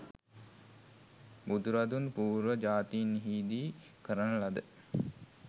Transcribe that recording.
බුදුරදුන් පූර්ව ජාතීන් හිදී කරන ලද